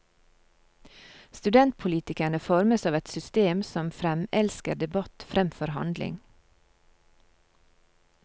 Studentpolitikerne formes av et system som fremelsker debatt fremfor handling.